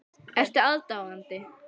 Ertu aðdáandi?